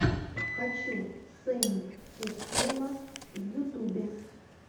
хочу сэйнт этилла в ютубе